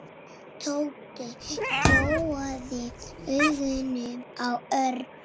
Tóti gjóaði augunum á Örn.